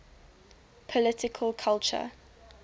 political culture